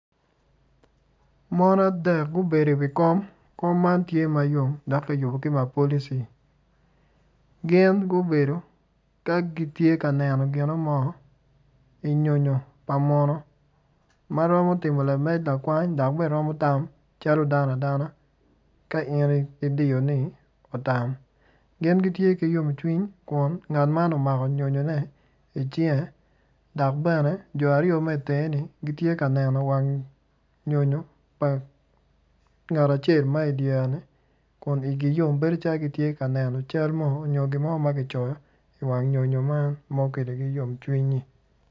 Mon adek gubedo iwi kom kom man tye mayom dok kiyubo ki mapolici gin gubedo ka gitye ka neno ginomo inyonyo pa munu ma romo timo lamed lakwany dok bene twero tam calo dano ka in idiyo ni otam gin gitye gitye ki yomcwiny kun ngat man omako nyonyone icinge dok bene jo aryo ma itengeni gitye ka neno wang nyonyo pa ngat acel ma idyereni kun igi yom bedo calo gitye ka neno calo mo nyo gin mo ma kicoyo iwang nyonyo man ma okeligi yom cwinyi.